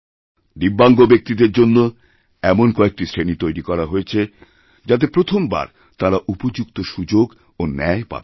দিব্যাঙ্গ ব্যক্তিদের জন্য এমন কয়েকটি শ্রেণি তৈরি করা হয়েছেযাতে প্রথমবার তাঁরা উপযুক্ত সুযোগ ও ন্যায় পাবেন